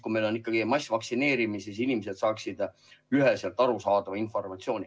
Kui meil on ikkagi massvaktsineerimine, siis inimesed peaksid saama üheselt arusaadava informatsiooni.